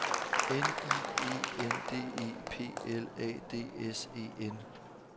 N I E N D E P L A D S E N